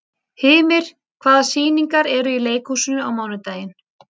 Hymir, hvaða sýningar eru í leikhúsinu á mánudaginn?